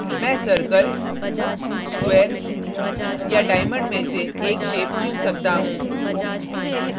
मैं circle square या diamond में से एक shape चुन सकता हूँ